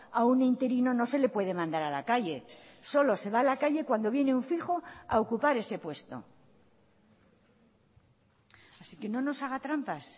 a un interino no se le puede mandar a la calle solo se va a la calle cuando viene un fijo a ocupar ese puesto así que no nos haga trampas